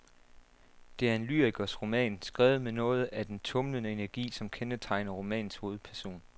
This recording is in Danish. Det er en lyrikers roman, skrevet med noget af den tumlende energi, som kendetegner romanens hovedperson.